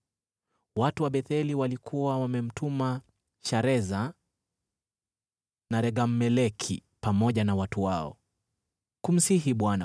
Watu wa Betheli walikuwa wamemtuma Shareza na Regem-Meleki pamoja na watu wao, kumsihi Bwana